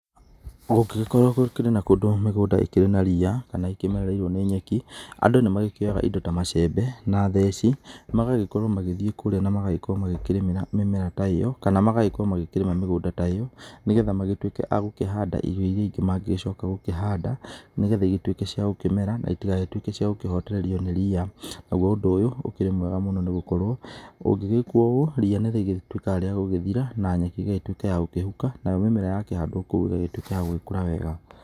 Kũngĩgĩkorwo gũkĩrĩ na kũndũ mĩgũnda ĩkĩrĩ na ria kana ĩkĩmereirwo nĩ nyeki, andũ nĩ magĩkĩoyaga indo ta macembe na theci magagĩkorwo magĩthiĩ kũrĩa na magakorwo magĩkĩrĩmĩra mĩmera ta ĩyo, kana magagĩkorwo makĩrĩma mĩgũnda ta ĩ yo nĩgetha magĩtuĩke agũkĩhanda irio irĩa ingĩ mangĩgĩcoka gũkĩhanda, nĩgetha ĩgĩtuĩke cia gukĩmera na ĩtigagĩtuĩke cia gukĩhotererĩo nĩ ria. Naguo ũndũ ũyũ ũkĩrĩ mwega mũno nĩgũkorwo ũngĩgĩkwo ũguo ria nĩ rĩgĩtuĩkaga rĩa gũgĩthira na nyeki ĩgatuĩka ya kũhuka nayo mĩmera yakĩhandwo kũo ĩgagĩtuĩka ya gũkũra wega.